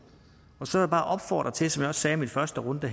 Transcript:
så vil jeg bare opfordre til som jeg også sagde i min første runde